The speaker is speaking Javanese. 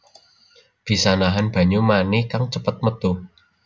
Bisa nahan banyu mani kang cepet métu